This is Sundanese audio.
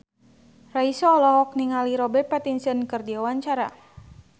Raisa olohok ningali Robert Pattinson keur diwawancara